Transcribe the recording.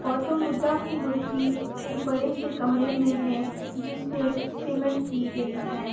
गौतम बुद्धा की मूर्ति एक बड़े से कमरे में है जिसमे सीमेंट की गयी है ।